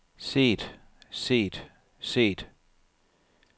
set set set